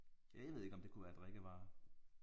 Ja jeg ved ikke om det kunne være drikkevarer